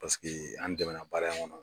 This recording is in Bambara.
Paseke an dɛmɛnna baara in kɔnɔ.